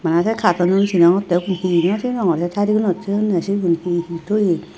bana se cartonun sinongottey ugun he he naw singonor se si ibenot thoyunney sinot he he thoye.